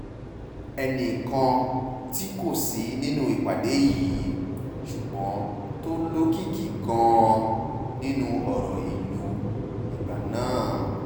ẹnì kan tí kò sí nínú ìpàdé yìí ṣùgbọ́n tó lókìkí gan-an nínú ọ̀rọ̀ ìlú ìgbà náà h